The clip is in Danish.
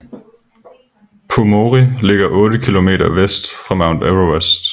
Pumori ligger otte kilometer vest for Mount Everest